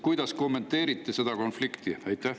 Kuidas te kommenteerite seda konflikti?